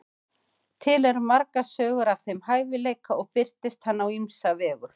til eru margar sögur af þeim hæfileika og birtist hann á ýmsa vegu